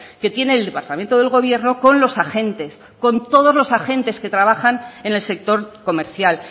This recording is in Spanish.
que tiene el departamento del gobierno con los agentes con todos los agentes que trabajan en el sector comercial